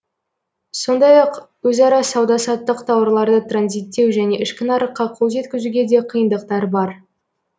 сондай ақ өзара сауда саттық тауарларды транзиттеу және ішкі нарыққа қол жеткізуге де қиындықтар бар